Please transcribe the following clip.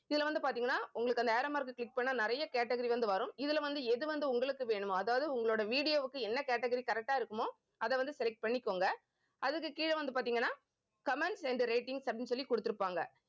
இதுல வந்து பாத்தீங்கன்னா உங்களுக்கு அந்த arrow mark அ click பண்ணா நிறைய category வந்து வரும். இதுல வந்து எது வந்து உங்களுக்கு வேணுமோ அதாவது உங்களோட video வுக்கு என்ன category correct ஆ இருக்குமோ அதை வந்து select பண்ணிக்கோங்க. அதுக்கு கீழே வந்து பார்த்தீங்கன்னா comments and ratings அப்படின்னு சொல்லி கொடுத்திருப்பாங்க